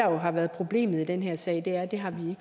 jo har været problemet i den her sag er at det har vi